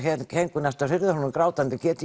þau héngu nánast við hurðarhúninn grátandi getið